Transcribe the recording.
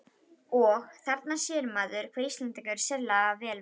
Og: Þarna sér maður, hve Íslendingar eru sérlega vel vaxnir.